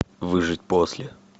выжить после